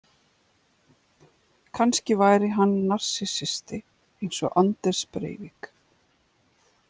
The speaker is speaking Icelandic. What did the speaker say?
Kannski væri hann narsissisti eins og Anders Breivik.